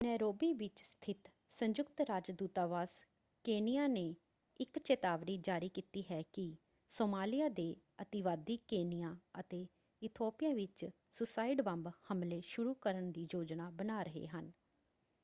Nairobi ਵਿੱਚ ਸਥਿਤ ਸੰਯੁਕਤ ਰਾਜ ਦੂਤਾਵਾਸ ਕੇਨੀਆ ਨੇ ਇੱਕ ਚਿਤਾਵਨੀ ਜਾਰੀ ਕੀਤੀ ਹੈ ਕਿ ਸੋਮਾਲਿਆ ਦੇ ਅਤਿਵਾਦੀ ਕੇਨੀਆ ਅਤੇ ਇਥੋਪੀਆ ਵਿੱਚ ਸੂਸਾਈਡ ਬੰਬ ਹਮਲੇ ਸ਼ੁਰੂ ਕਰਨ ਦੀ ਯੋਜਨਾ ਬਣਾ ਰਹੇ ਹਨ।